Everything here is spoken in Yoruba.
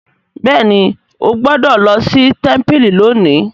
béèni o gbódò ló sí tẹmpili lónì.